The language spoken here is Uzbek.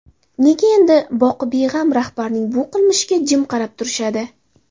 Nega endi boqibeg‘am rahbarning bu qilmishiga jim qarab turishadi?